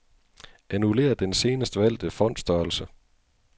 Annullér den senest valgte font-størrelse.